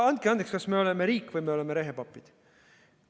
Andke andeks, kas me oleme riik või me oleme rehepapid?